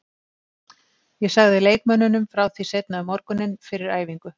Ég sagði leikmönnunum frá því seinna um morguninn, fyrir æfingu.